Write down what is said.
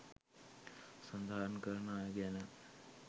සඳහන් කරන අය ගැන